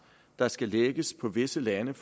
der skal lægges på visse lande